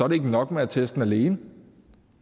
det ikke nok med attesten alene